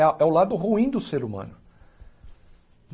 É a é o lado ruim do ser humano.